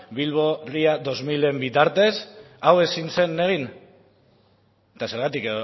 bilbo ria bi milaen bitartez hau ezin zen egin eta zergatik